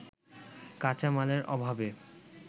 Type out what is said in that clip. কাঁচামালের অভাবে